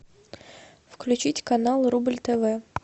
включить канал рубль тв